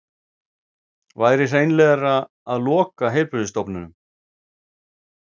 Væri hreinlegra að loka heilbrigðisstofnunum